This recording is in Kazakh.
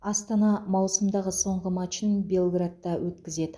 астана маусымдағы соңғы матчын белградта өткізеді